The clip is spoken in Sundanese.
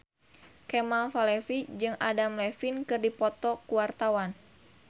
Kemal Palevi jeung Adam Levine keur dipoto ku wartawan